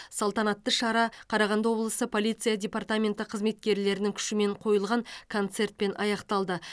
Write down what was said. салтанаты шара қарағанды облысы полиция департаменті қызметкерлерінің күшімен қойылған концертпен аяқталды